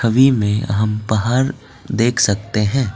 We में हम बाहर देख सकते हैं।